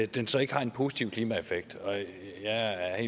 den så ikke har en positiv klimaeffekt jeg er